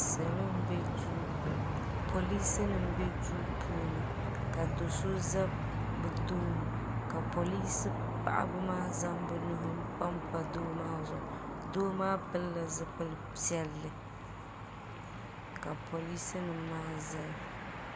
Polecenim, be duu puuni. ka doso ʒa bɛ tooni. ka polece paɣiba maa zaŋ bɛ nuhi panpa doo maa zuɣu. doo maa pilila zipili piɛli , ka polece nim maa ʒaya